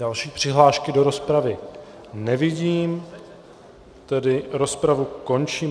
Další přihlášky do rozpravy nevidím, tedy rozpravu končím.